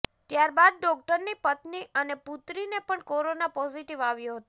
ત્યારબાદ ડોક્ટરની પત્ની અને પુત્રીને પણ કોરોના પોઝિટીવ આવ્યો હતો